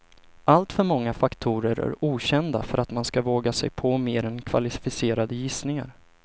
Alltför många faktorer är okända för att man ska våga sig på mer än kvalificerade gissningar.